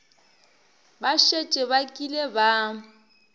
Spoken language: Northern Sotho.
ba šetše ba kile ba